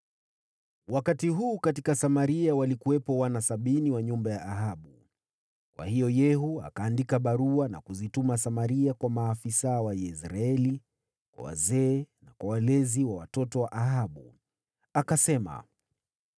Wakati huu katika Samaria walikuwepo wana sabini wa nyumba ya Ahabu. Kwa hiyo Yehu akaandika barua na kuzituma Samaria: kwa maafisa wa Yezreeli, kwa wazee, na kwa walezi wa watoto wa Ahabu. Akasema,